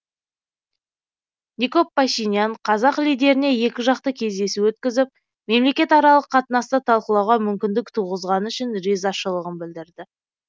никол пашинян қазақ лидеріне екіжақты кездесу өткізіп мемлекетаралық қатынасты талқылауға мүмкіндік туғызғаны үшін ризашылығын білдірді